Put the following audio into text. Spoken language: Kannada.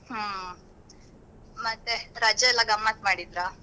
ಹ್ಮ್ ಮತ್ತೆ ರಜೆ ಎಲ್ಲ ಗಮ್ಮತ್ ಮಾಡಿದ್ರಾ?